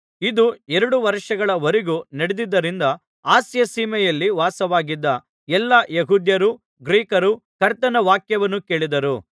ಇದು ಎರಡು ವರ್ಷಗಳ ವರೆಗೂ ನಡೆದಿದ್ದರಿಂದ ಅಸ್ಯಸೀಮೆಯಲ್ಲಿ ವಾಸವಾಗಿದ್ದ ಎಲ್ಲಾ ಯೆಹೂದ್ಯರೂ ಗ್ರೀಕರೂ ಕರ್ತನ ವಾಕ್ಯವನ್ನು ಕೇಳಿದರು